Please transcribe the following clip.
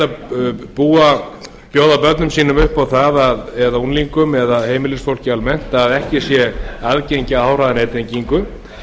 ekki hægt að bjóða börnum sínum unglingum eða heimilisfólki almennt upp á það að ekki sé aðgengi að háhraðanettengingu